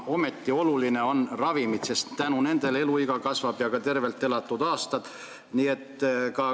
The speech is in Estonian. Ometi on olulised ka ravimid, sest tänu nendele eluiga kasvab ja kasvab ka tervelt elatud aastate arv.